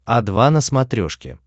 о два на смотрешке